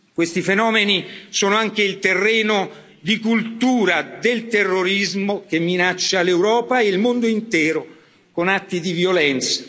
Questi fenomeni sono anche il terreno di coltura del terrorismo che minaccia l'Europa e il mondo intero con atti di violenza.